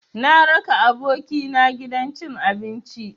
Na raka abokina gidan cin abinci.